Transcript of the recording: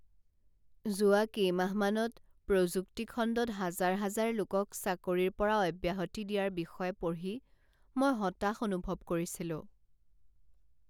যোৱা কেইমাহমানত প্ৰযুক্তি খণ্ডত হাজাৰ হাজাৰ লোকক চাকৰিৰ পৰা অব্যাহতি দিয়াৰ বিষয়ে পঢ়ি মই হতাশ অনুভৱ কৰিছিলোঁ